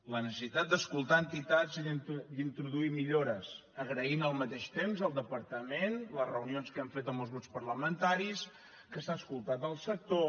la necessitat d’escoltar entitats i d’introduir millores agraint al mateix temps al departament les reunions que han fet amb els grups parlamentaris que s’ha escoltat el sector